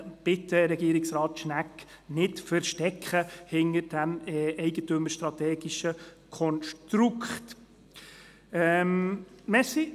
Bitte, Regierungsrat Schnegg, nicht hinter diesem eigentümerstrategischen Konstrukt verstecken!